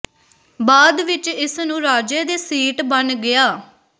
ਬਾਅਦ ਵਿਚ ਇਸ ਨੂੰ ਰਾਜੇ ਦੇ ਸੀਟ ਬਣ ਗਿਆ